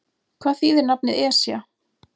Hvað þýðir nafnið Esja?